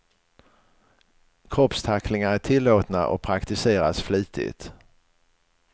Kroppstacklingar är tillåtna och praktiseras flitigt.